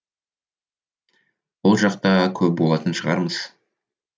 ол жақта көп болатын шығармыз